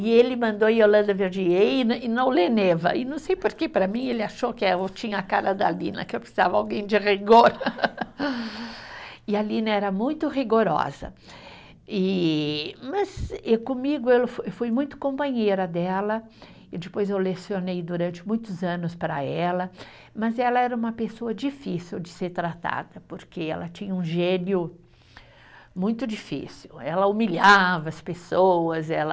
E ele mandou Yolanda Verdier ir e não, e não e não sei porque para mim ele achou que eu tinha a cara da Lina que eu precisava alguém de rigor, e a Lina era muito rigorosa e, mas e comigo eu fui muito companheira dela e depois eu lecionei durante muitos anos para ela, mas ela era uma pessoa difícil de ser tratada porque ela tinha um gênio muito difícil ela humilhava as pessoas, ela